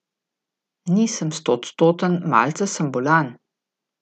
Nisem stoodstoten, malce sem bolan.